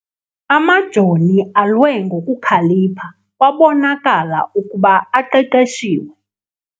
Amajoni alwe ngokukhalipha kwabonakala ukuba aqeqeshiwe.